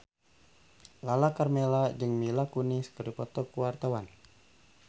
Lala Karmela jeung Mila Kunis keur dipoto ku wartawan